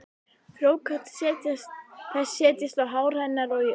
Frjókorn þess setjast á hár hennar og í augun.